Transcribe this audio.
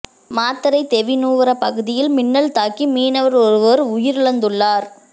மாத்தறை தெவிநுவர பகுதியில் மின்னல் தாக்கி மீனவர் ஒருவர் உயிரிழந்துள்ளார்